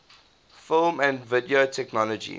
film and video technology